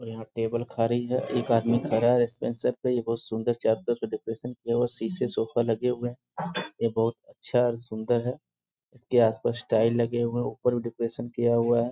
और यहाँ टेबल खाड़ी है एक आदमी खड़ा है रिसेप्शन पे ये बहुत सुंदर चारों तरफ से डेकोरेशन किया हुआ शीशे शोफा लगे हुए हैं ये बहुत अच्छा और सुंदर है इसके आस-पास टाइल लगे हुए हैं ऊपर भी डेकोरेशन किया हुआ है|